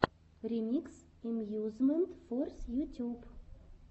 ремикс эмьюзмент форс ютюб